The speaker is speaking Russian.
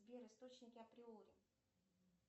сбер источники априори